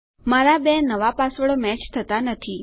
મારા બે નવા પાસવર્ડો મેચ થતા નથી